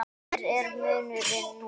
Hver er munurinn núna?